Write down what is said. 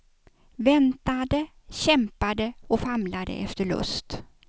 Väntade, kämpade och famlade efter lust.